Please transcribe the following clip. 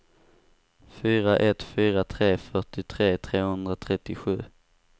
fyra ett fyra tre fyrtiotre trehundratrettiosju